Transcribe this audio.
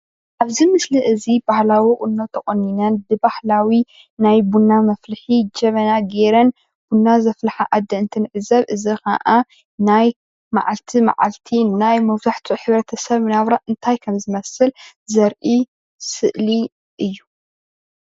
ኣብዚ ምስሊ እዚ ባህላዊ ቁኖ ተቆኒነን ብባህላዊ ናይ ቡና መፍልሒ ጀበና ጌረን ቡና ዘፍልሓ ኣደ እንተንዕዘብ እዚከዓ ናይ መዓላቲ መዓልቲ ናይ መብዛሕቲኡ ሕብረተስብ ናብራ እንታይ ከምዝመስል ዘርኢ ስእሊ እዩ።